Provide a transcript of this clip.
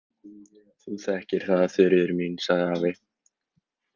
Þú þekkir það, Þuríður mín, sagði afi.